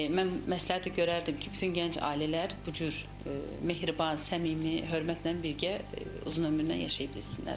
Mən məsləhət görərdim ki, bütün gənc ailələr bu cür mehriban, səmimi, hörmətlə birgə uzun ömürlər yaşaya bilsinlər.